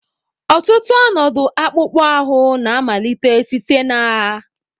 Ọtụtụ ọnọdụ akpụkpọ ahụ na-amalite site na agha.